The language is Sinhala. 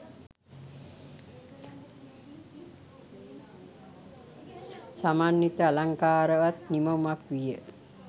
සමන්විත අලංකාරවත් නිමවුමක් විය.